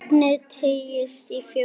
Efnið teygist á fjóra vegu.